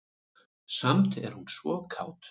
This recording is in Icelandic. Samt er hún svo kát.